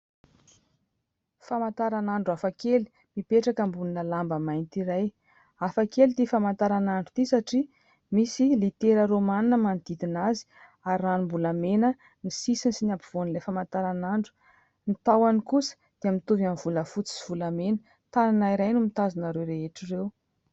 Famantaran'andro hafakely mipetraka ambonina lamba mainty iray. Hafakely ity famantaran'andro ity, satria misy litera romanina manodidina azy ary ranom-bolamena ny sisiny sy ny ampovoan'ilay famantaran'andro, ny tahony kosa dia mitovy amin'ny volafotsy sy volamena. Tanana iray no mitazona ireo rehetra ireo.